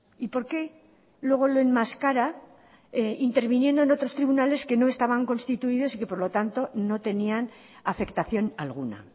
y por qué luego lo enmascara interviniendo en otros tribunales que no estaban constituidos y que por lo tanto no tenían afectación alguna